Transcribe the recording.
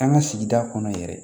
An ka sigida kɔnɔ yɛrɛ